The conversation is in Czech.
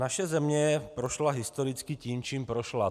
Naše země prošla historicky tím, čím prošla.